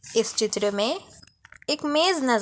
इस चित्र में एक मेज नजर--